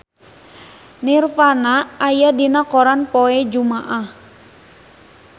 Nirvana aya dina koran poe Jumaah